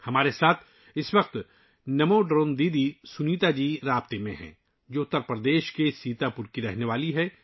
ہمارے ساتھ ، اِس وقت نمو ڈرون دیدی سنیتا جی جڑی ہوئی ہیں ، جو اتر پردیش کے سیتا پور سے ہیں